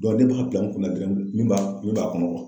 ne b'a bila n kunna dɔrɔn min b'a min b'a kɔnɔ